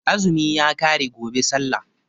Azumi ya ƙare gobe sallah